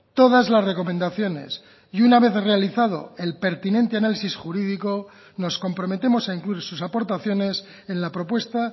todas las recomendaciones y una vez realizado el pertinente análisis jurídico nos comprometemos a incluir sus aportaciones en la propuesta